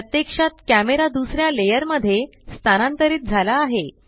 प्रत्यक्षात कॅमरा दुसर्या लेयर मध्ये स्थानांतरित झाला आहे